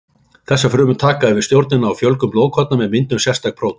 Þessar frumur taka yfir stjórnina á fjölgun blóðkorna með myndun sérstaks prótíns.